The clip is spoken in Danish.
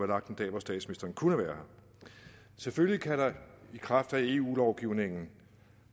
lagt en dag hvor statsministeren kunne være her selvfølgelig kan der i kraft af eu lovgivningen